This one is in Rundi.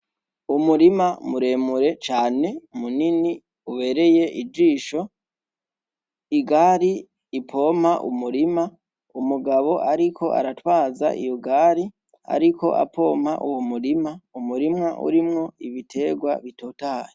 Umurima muremure cane munini ubereye ijisho igari ipompa umurima umugabo, ariko aratwaza iy ugari, ariko apompa uwu murima umurimwa urimwo ibiterwa bitotaye.